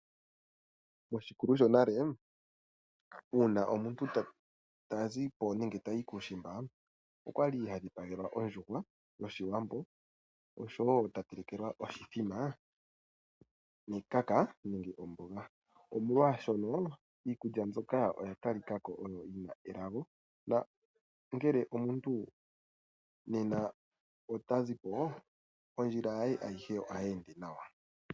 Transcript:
Moshikulu shonale uuna omuntu tazi po nenge tayi kuushimba okwali hadhipagelwa ondjuhwa yoshiwambo oshowo tatelekelwa oshimbombo nekaka nenge omboga, omolwaashono iikulya mbyoka oyo yatalika ko oyo yina elago, nangele omuntu nena otazi po ondjila ye ayihe ohayi ende nawa.